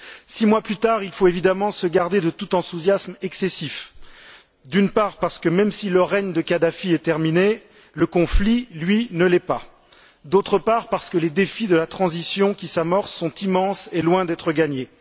Six mois plus tard, il faut évidemment se garder de tout enthousiasme excessif, d'une part parce que même si le règne de Kadhafi est terminé, le conflit, lui, ne l'est pas, et d'autre part parce que les défis de la transition qui s'amorce sont immenses et loin d'être gagnés.